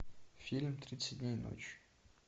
фильм тридцать дней ночи